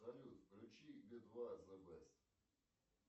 салют включи би два зэ бэст